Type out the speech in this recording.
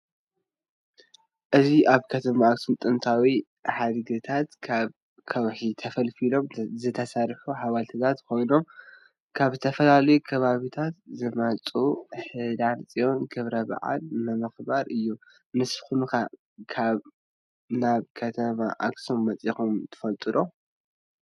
እዚ አብ ከተማ አክሱም ጥንታዊ ሐድግታት ካብ ከውሒ ተፈሊፍሎም ዝተሰርሑ ሐወልትታት ኮይኖም ካብ ዝተፈላለዮ ከባብታት ዝመፁ ህዳር ፅየን ከብረ በዓል ንምክባር እዮ ። ንሰኩም ከ ናብ ከተማ አክሱም መ ፅኩም ትፈልጥ ዶ?